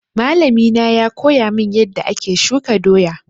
Malami na ya koya min yanda ake shuka doya